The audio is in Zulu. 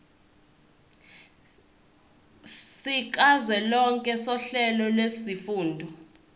sikazwelonke sohlelo lwezifundo